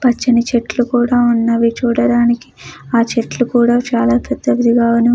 పచ్చని చెట్లు ఉన్నవే చూడడానికా ఆ చెట్లు కూడా చాలా పెద్దగా ఉన్నది.